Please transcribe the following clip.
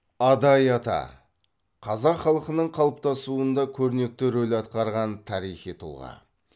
адай ата қазақ халқының қалыптасуында көрнекті рөл атқарған тарихи тұлға